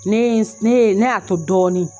Ne ye ne ye ne y'a to dɔɔni.